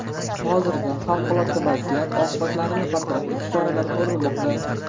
Hozirda favqulodda vaziyat oqibatlarini bartaraf etish choralari ko‘rilmoqda.